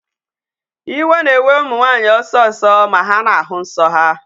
Iwe na-ewe ụmụ nwanyị ọsọ ọsọ ma hà na-ahụ nsọ ha.